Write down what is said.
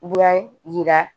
Yira